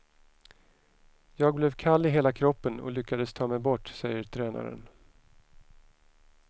Jag blev kall i hela kroppen och lyckades ta mig bort, säger tränaren.